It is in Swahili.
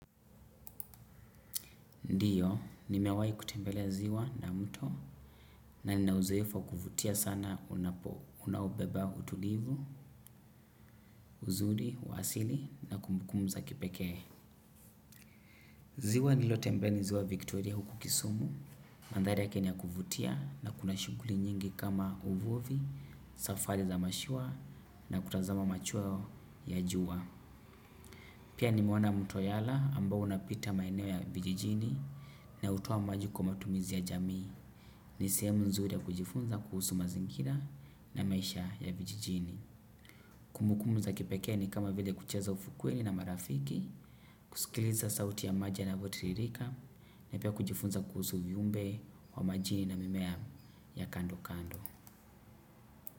Ndiyo, nimewahi kutembelea ziwa na mto na ninauzoefu wa kuvutia sana unapo, unaobeba utulivu, uzuri, wa asili na kumbukumu za kipeke. Ziwa nilotembelea ni ziwa Victoria huku kisumu, mandhari yake ni ya kuvutia na kuna shughuli nyingi kama uvuvi, safari za mashua na kutazama machweo ya juwa. Pia ni meona mto yala ambao unapita maeneo ya vijijini na utowa maji kwa matumizi ya jamii. Ni sehemu ya nzuri ya kujifunza kuhusu mazingira na maisha ya vijijini. Kumbukumbu za kipekee ni kama vile kucheza ufukweni na marafiki. Kusikiliza sauti ya maji yanavyo tiririka na pia kujifunza kuhusu viumbe wa majini na mimea ya kando kando.